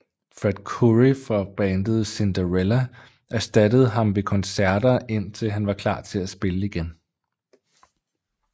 Fred Coury fra bandet Cinderella erstattede ham ved koncerter indtil han var klar til at spille igen